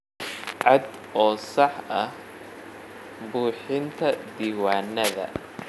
Cad oo sax ah buuxinta diiwaanada.